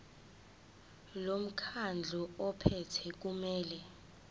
lomkhandlu ophethe kumele